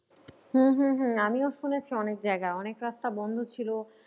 হম হম হম আমিও শুনেছি অনেক জায়গা অনেক রাস্তা বন্ধ ছিল।